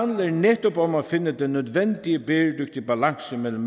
netop om at finde den nødvendige bæredygtige balance mellem